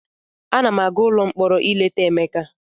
Ana m aga ụlọ mkpọrọ ileta Emeka.